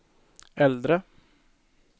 äldre